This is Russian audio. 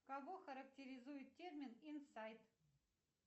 кого характеризует термин инсайт